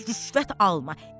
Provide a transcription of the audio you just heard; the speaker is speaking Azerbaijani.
Deyir rüşvət alma.